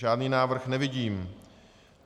Žádný návrh nevidím.